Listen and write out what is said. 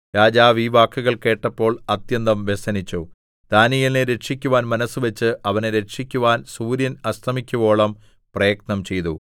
രാജാവു ഈ വാക്കുകൾ കേട്ടപ്പോൾ അത്യന്തം വ്യസനിച്ചു ദാനീയേലിനെ രക്ഷിക്കുവാൻ മനസ്സുവച്ച് അവനെ രക്ഷിക്കുവാൻ സൂര്യൻ അസ്തമിക്കുവോളം പ്രയത്നം ചെയ്തു